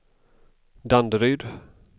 Danderyd